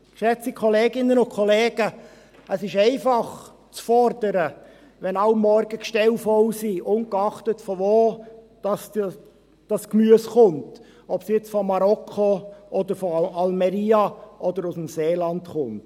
Geschätzte Kolleginnen und Kollegen, es ist einfach, zu fordern, wenn jeden Morgen die Regale voll sind, ungeachtet woher das Gemüse kommt, ob es aus Marokko oder Almería oder aus dem Seeland kommt.